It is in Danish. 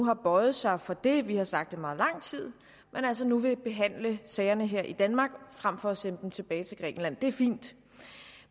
har bøjet sig for det vi har sagt det i meget lang tid og altså nu vil behandle sagerne her i danmark frem for at sende dem tilbage til grækenland det er fint